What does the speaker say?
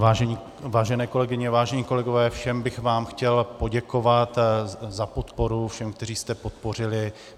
Vážené kolegyně, vážení kolegové, všem bych vám chtěl poděkovat za podporu, všem, kteří jste podpořili.